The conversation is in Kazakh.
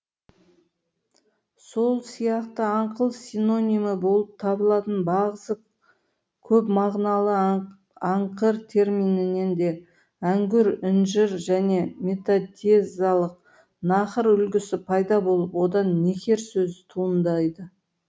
сол сияқты аңқыл синонимі болып табылатын бағзы көпмағыналы аңқыр терминінен де әңгүр інжір және метатезалық нақыр үлгісі пайда болып одан некер сөзі туындайды